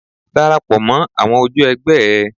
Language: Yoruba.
Darapọ̀ mọ́ àwọn ojú ẹ̀gbẹ́ ẹ.